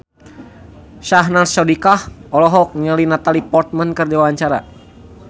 Syahnaz Sadiqah olohok ningali Natalie Portman keur diwawancara